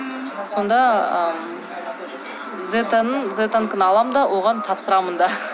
сонда ыыы зетаның зетанікін аламын да оған тапсырамын да